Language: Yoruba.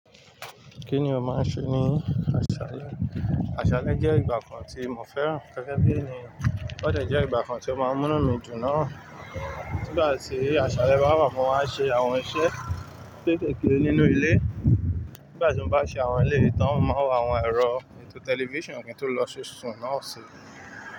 Kí ni ó máa ń ṣe ní aṣálẹ́? Aṣálẹ́ jẹ́ ìgbà kan tí mo fẹ́ràn. Gẹ́gẹ́ bí ẹniyan, ó dẹ̀jẹ́ ìgbà kan tí ó máa ń múnú mi dùn náà. Nígbà tí aṣálẹ́ bá wà, mo máa ń ṣe àwọn iṣẹ́ kéékèèké nínú ilé. Gẹ́gẹ́ bí ẹniyan, ó dẹ̀jẹ́ ìgbà kan tí ó máa ń múnú mi dùn náà.